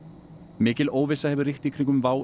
mikil óvissa hefur ríkt í kringum WOW